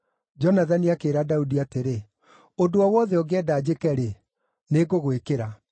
Jonathani akĩĩra Daudi atĩrĩ, “Ũndũ o wothe ũngĩenda njĩke-rĩ, nĩngũgwĩkĩra.”